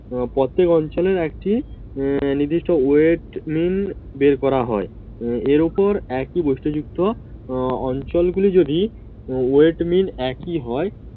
আহ আহ প্রত্যেক অঞ্চলের একটি নির্দিষ্ট Weight Min বের করা হয় আহ এর উপর একই বৈশিষ্ট্যযুক্ত অঞ্চলগুলি যদি Weight Min একই হয়